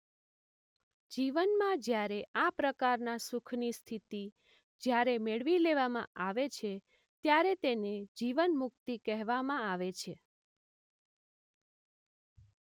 જીવનમાં જ્યારે આ પ્રકારના સુખની સ્થિતિ જ્યારે મેળવી લેવામાં આવે છે ત્યારે તેને જીવન મુક્તિ કહેવામાં આવે છે.